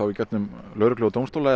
í gegnum lögreglu og dómstóla eða